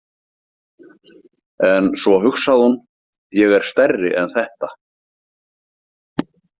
En svo hugsaði hún: Ég er stærri en þetta.